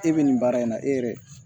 E bɛ nin baara in na e yɛrɛ